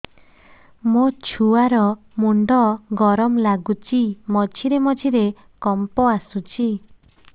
ମୋ ଛୁଆ ର ମୁଣ୍ଡ ଗରମ ଲାଗୁଚି ମଝିରେ ମଝିରେ କମ୍ପ ଆସୁଛି